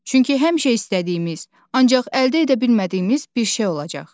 Çünki həmişə istədiyimiz, ancaq əldə edə bilmədiyimiz bir şey olacaq.